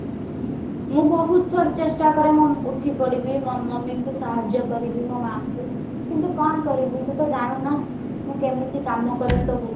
ମୁଁ ବହୁତ ଥର ଚେଷ୍ଟା କରେ ମୋ ଉଠିପଡିବି ମୋ mummy ଙ୍କୁ ସାହାର୍ଯ୍ୟ କରିବି ମୋ ମାଆଙ୍କୁ କିନ୍ତୁ କଣ କରିବି ୟୁ ତ ଜାଣୁ ନା ମୁଁ କେମିତି କାମ କରେ ସବୁ